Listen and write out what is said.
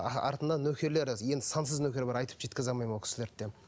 артынан нөкерлері енді сансыз нөкер бар айтып жеткізе алмаймын ол кісілерді де